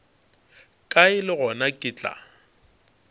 kae le gona ke tla